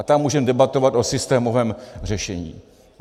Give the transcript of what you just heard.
A tam můžeme debatovat o systémovém řešení.